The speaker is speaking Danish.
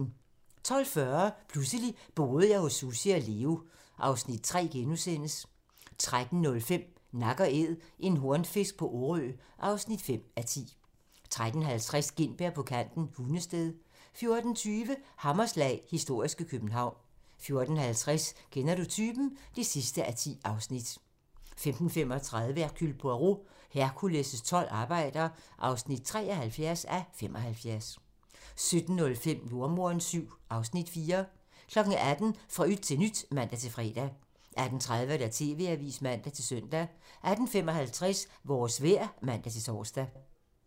12:40: Pludselig boede jeg hos Sussi og Leo (Afs. 3)* 13:05: Nak & Æd - en hornfisk på Orø (5:10) 13:50: Gintberg på kanten - Hundested 14:20: Hammerslag - historiske København 14:50: Kender du typen? (10:10) 15:35: Hercule Poirot: Hercules' tolv arbejder (73:75) 17:05: Jordemoderen VII (Afs. 4) 18:00: Fra yt til nyt (man-fre) 18:30: TV-avisen (man-søn) 18:55: Vores vejr (man-tor)